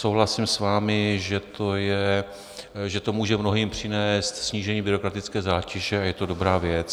Souhlasím s vámi, že to může mnohým přinést snížení byrokratické zátěže a je to dobrá věc.